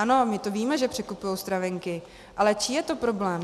Ano, my to víme, že překupují stravenky, ale čí je to problém?